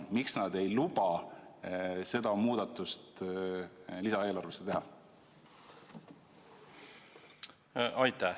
Miks nad ei luba seda muudatust lisaeelarves teha?